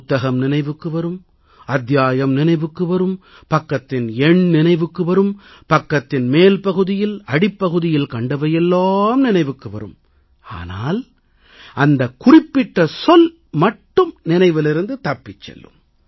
புத்தகம் நினைவுக்கு வரும் அத்தியாயம் நினைவுக்கு வரும் பக்கத்தின் எண் நினைவுக்கு வரும் பக்கத்தின் மேல் பகுதியில் அடிப்பகுதியில் கண்டவையெல்லாம் நினைவுக்கு வரும் ஆனால் அந்தக் குறிப்பிட்ட சொல் மட்டும் நினைவிலிருந்து தப்பிச் செல்லும்